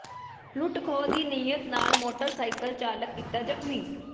ਲੁੱਟ ਖੋਹ ਦੀ ਨੀਅਤ ਨਾਲ ਮੋਟਰ ਸਾਈਕਲ ਚਾਲਕ ਕੀਤਾ ਜ਼ਖ਼ਮੀ